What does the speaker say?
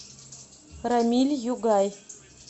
рамиль югай